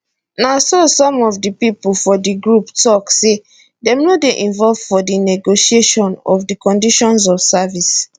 na so some of di pipo for di group tok say dem no dey involved for di negotiation of di conditions of service